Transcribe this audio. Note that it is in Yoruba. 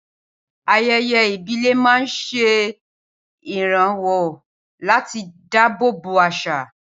Ayẹyẹ ìbílẹ̀ máa ń ṣe ìrànwọ́ láti dábòbò àṣà